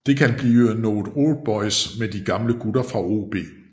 Det kan blive noget oldboys med de gamle gutter fra OB